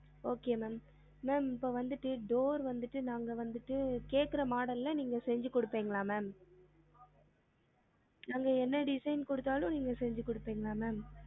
Okay ma'am ma'am இப்போ வந்துட்டு door வந்துட்டு நாங்க வந்துட்டு கேக்குற model ல நீங்க செஞ்சு குடுப்பிங்களா ma'am நாங்க என்ன design குடுத்தாளும் நீங்க செஞ்சி குடுப்பிங்களா ma'am?